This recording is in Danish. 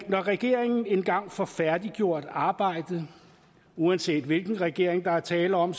regeringen engang får færdiggjort arbejdet uanset hvilken regering der er tale om